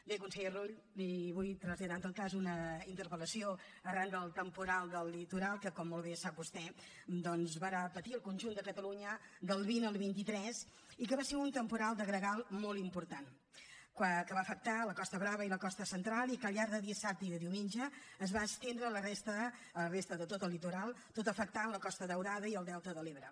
bé conseller rull li vull traslladar en tot cas una interpel·lació arran del temporal del litoral que com molt bé sap vostè va patir el conjunt de catalunya del vint al vint tres i que va ser un temporal de gregal molt important que va afectar la costa brava i la costa central i que al llarg de dissabte i de diumenge es va estendre a la resta de tot el litoral tot afectant la costa daurada i el delta de l’ebre